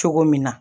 Cogo min na